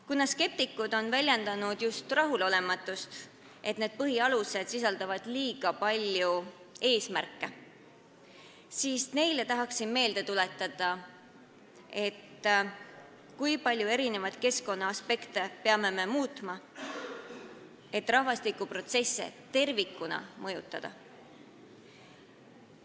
Kuna skeptikud on väljendanud rahulolematust, et need põhialused sisaldavad liiga palju eesmärke, siis tahan neile meelde tuletada, kui palju keskkonnaaspekte peame me muutma, et rahvastikuprotsesse tervikuna mõjutada.